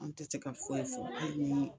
An tɛ se ka foyi fɔ hali ni